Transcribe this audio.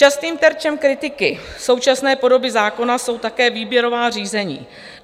Častým terčem kritiky současné podoby zákona jsou také výběrová řízení.